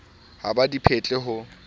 ha ba di phetle ho